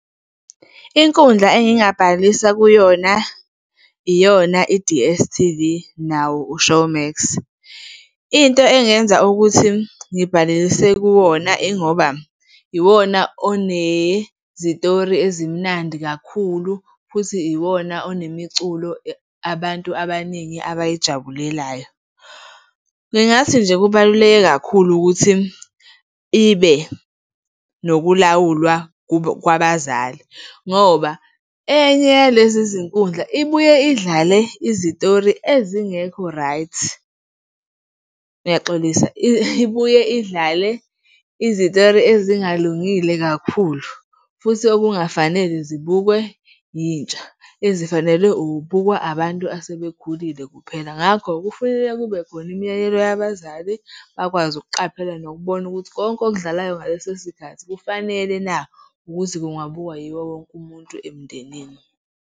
Inkundla engingabhalisa kuyona, iyona i-D_S_T_V nawo u-Showmax. Into engenza ukuthi ngibhalise kuwona ingoba iwona onezitori ezimnandi kakhulu, futhi iwona onemiculo abantu abaningi abayijabulelayo. Ngingathi nje kubaluleke kakhulu ukuthi ibe nokulawulwa kwabazali ngoba enye yalezi zinkundla ibuye idlale izitori ezingekho right. Ngiyaxolisa, ibuye idlale izitori ezingalungile kakhulu, futhi okungafanele zibukwe yintsha, ezifanele ukubukwa abantu asebekhulile kuphela. Ngakho kufuneka kube khona imiyalelo yabazali, bakwazi ukuqaphela nokubona ukuthi konke okudlalayo ngaleso sikhathi kufanele na ukuthi kungabukwa yiwo wonke umuntu emndenini.